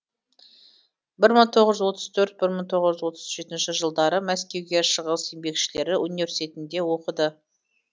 бір мың тоғыз жүз отыз төрт бір мың тоғыз жүз отыз жетінші жылдары мәскеуде шығыс еңбекшілері университетінде оқыды